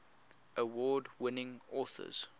award winning authors